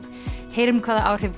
heyrum hvaða áhrif